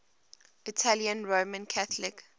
italian roman catholic